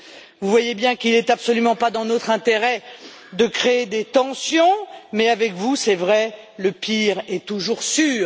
Vous voyez bien qu'il n'est absolument pas dans notre intérêt de créer des tensions, mais avec vous, c'est vrai, le pire est toujours sûr.